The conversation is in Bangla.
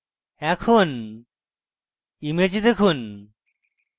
এখন image দেখুন